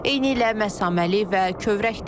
Eynilə məsaməli və kövrəkdir.